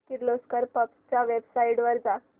Kirloskar pumps च्या website वर जा